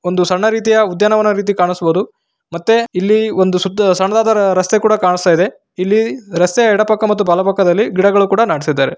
ಒಂದು ಸಣ್ಣ ರೀತಿಯ ಉದ್ಯಾನವನ ರೀತಿ ಕಾಣಿಸುವುದು ಮತ್ತೆ ಇಲ್ಲಿ ಒಂದು ಸುತ್ತ ಸಣ್ಣದಾದ ರಸ್ತೆ ಕೂಡ ಕಾಣಿಸ್ತಾ ಇದೆ ಇಲ್ಲಿ ರಸ್ತೆಯ ಎಡಪಕ್ಕ ಮತ್ತು ಬಲ ಪಕ್ಕದಲ್ಲಿ ಗಿಡಗಳನ್ನು ಕೂಡ ನಡೆಸಿದ್ದಾರೆ.